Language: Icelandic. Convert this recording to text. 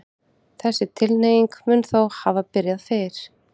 Þessi tilhneiging mun þó hafa byrjað fyrr.